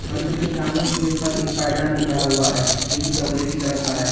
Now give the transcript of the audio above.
मंदिर के सामने गेट पर एक पायदान भी पड़ा हुआ है जो कि चॉकलेटी कलर का है।